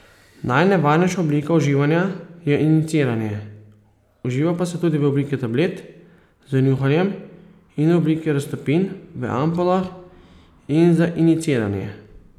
Najnevarnejša oblika uživanja je injiciranje, uživa pa se tudi v obliki tablet, z njuhanjem in v obliki raztopin v ampulah in za injiciranje.